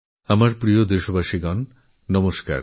আমার প্রিয় দেশবাসী নমস্কার